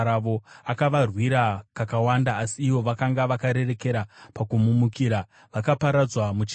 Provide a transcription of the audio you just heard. Akavarwira kakawanda, asi ivo vakanga vakarerekera pakumumukira vakaparadzwa muchivi chavo.